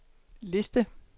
liste